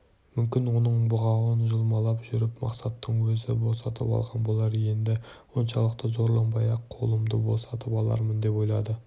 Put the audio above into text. мүмкін оның бұғауын жұлмалап жүріп мақсаттың өзі босатып алған болар енді оншалықты зорланбай-ақ қолымды босатып алармын деп ойлады